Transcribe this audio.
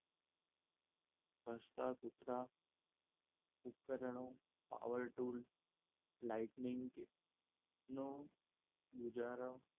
ભસતા કુતરા, ઉપકરણો, power tool lightning નો ગુજારા,